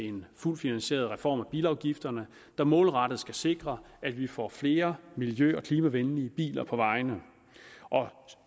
en fuldt finansieret reform af bilafgifterne der målrettet skal sikre at vi får flere miljø og klimavenlige biler på vejene